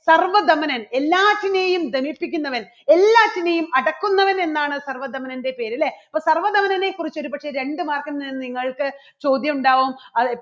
സർവ്വധമനൻ എല്ലാത്തിനെയും ധനിപ്പിക്കുന്നവൻ എല്ലാത്തിനെയും അടക്കുന്നവൻ എന്നാണ് സർവ്വധമനൻറെ പേര് അല്ലേ? അപ്പോ സർവ്വധമനനെക്കുറിച്ച് ഒരുപക്ഷേ രണ്ട് mark ൽ നിന്ന് നിങ്ങൾക്ക് ചോദ്യം ഉണ്ടാവും